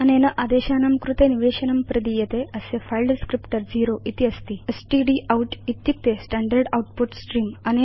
अनेन आदेशानां कृते निवेशनं प्रदीयते अस्य फिले डिस्क्रिप्टर ० इति अस्ति स्टडाउट इत्युक्ते स्टैण्डर्ड् आउटपुट स्त्रेऽं